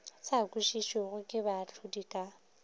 sa kwešišwego ke baahlodi ka